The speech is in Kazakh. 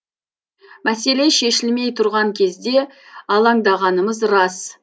мәселе шешілмей тұрған кезде алаңдағанымыз рас